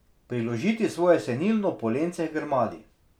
Priložiti svoje senilno polence h grmadi.